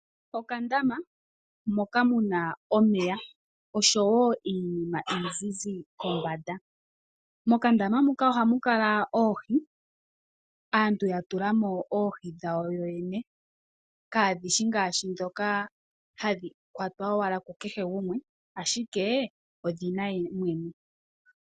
Okandama moka muna omeya oshowo iinima izizi kombanda. Mokandama muka oha mukala oohi, aantu ya tulamo oohi dhawo yoyene, kadhishi ngashi dhoka hadhi kwata owala kukeshe gumwe, ashike odhe yemwene.